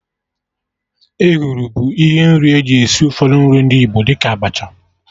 Ehuru bụ ihe nri eji esi ụfọdụ nri ndị Igbo, dị ka Abacha